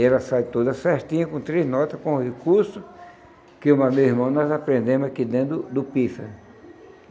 E ela sai toda certinha, com três nota, com o recurso que eu mais meu irmão nós aprendemos aqui dentro do do pífano.